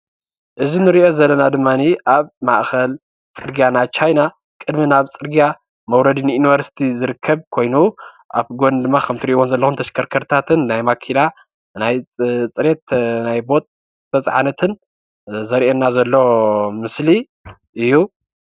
እዚ ንሪኦ ዘለና ድማኒ ኣብ ማእኸል ፅርግያ ናይ ቻይና ቅድሚ ናብ ፅርግያ መዉረዲ ንኢንቨርስቲ ዝርከብ ኮይኑ ኣብ ጎኑ ድማ ከምቲ ትርእይዎ ዘለኹም ተሽከርከርትታትን ናይ ማኪና ናይ ፅዕነት፣ ናይ ቦጥ ዝተፅዓነትን ዘርእየና ዘሎ ምስሊ እዩ፡፡